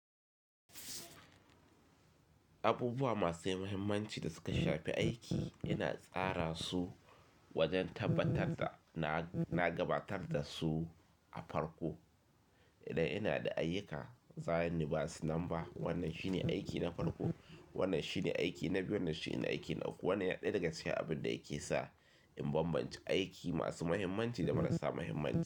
Abubuwa masu muhimmanci da suka shafe aiki ina tsara su wajen tabbatar da na gabatar da su a farko. Idan ina da ayyuka, zani basu namba. Wannan shine aiki na farko, wannan shine aiki na biyu, wannan shine aiki na uku. Wannan yana ɗaya daga cikin abin da yake sa in bambance aiki masu muhimmanci da marasa muhimmanci.